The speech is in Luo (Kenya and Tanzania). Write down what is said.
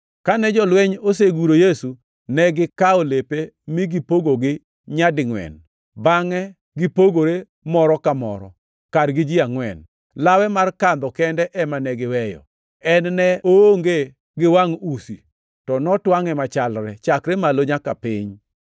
Kane jolweny oseguro Yesu, negikawo lepe mi gipogogi nyadingʼwen, bangʼe gipogore moro ka moro, kargi ji angʼwen. Lawe mar kandho kende ema ne giweyo. En ne oonge gi wangʼ usi, to notwangʼe machalre, chakre malo nyaka piny.